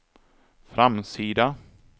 framsida